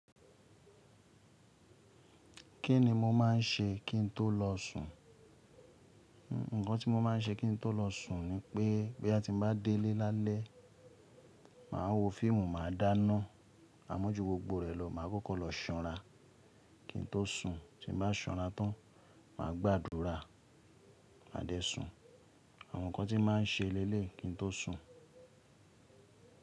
Kí ni mo máà ń ṣe kí n tó lọ sùn? Ǹkan tí mo má a ń ṣe kí n tó lọ sùn ni pé, bí a ti ń bá délé lálẹ́, màá wo fíìmù, mà á dáná amójú gbogbo rẹ̀ lọ, mà á kọ́kọ́ lọ ṣanra kín n tó sùn, tí n bá sanra tán, mà á gbàdúrà, mà á dẹ sun. Àwọn nǹkan tí màá ń ṣe léle kí n tó sùn.